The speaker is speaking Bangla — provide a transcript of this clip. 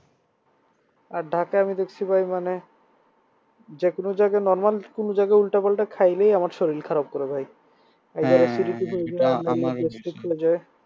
আর ঢাকা আমি দেখছি ভাই মানে যেকোনো জায়গায় normal কোন জায়গা উল্টাপাল্টা খাইলেই আমার শরীর খারাপ করে যায়